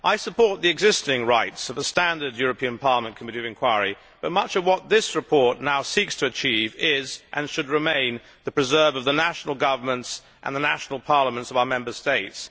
I support the existing rights of the standard European Parliament committee of inquiry, but much of what this report now seeks to achieve is, and should remain, the preserve of the national governments and the national parliaments of our Member States.